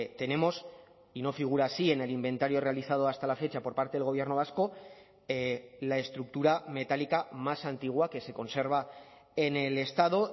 tenemos y no figura así en el inventario realizado hasta la fecha por parte del gobierno vasco la estructura metálica más antigua que se conserva en el estado